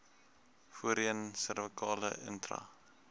voorheen servikale intra